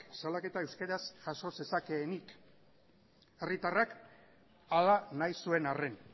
salaketa euskeraz jaso zezakeenik herritarrak hala nahi zuen arren